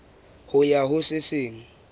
ho ya ho se seng